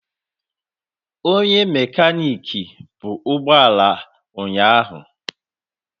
Onye mekaniki bu ụgbọ ala ụnyahụ.